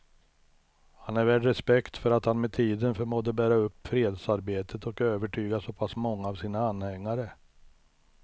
Han är värd respekt för att han med tiden förmådde bära upp fredsarbetet och övertyga så pass många av sina anhängare.